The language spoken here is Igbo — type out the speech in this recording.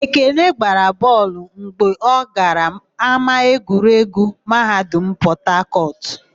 Ekene gbara bọọlụ mgbe ọ gara ámáegwuregwu Mahadum Pọtakọtụ.